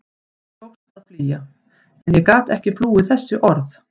Mér tókst að flýja en ég gat ekki flúið þessi orð.